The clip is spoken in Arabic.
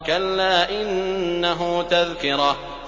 كَلَّا إِنَّهُ تَذْكِرَةٌ